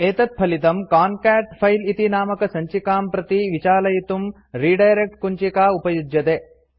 एतत्फलितम् concat file इति नामकसञ्चिकां प्रति विचालयितुं रिडायरेक्ट् कुञ्चिका उपयुज्यते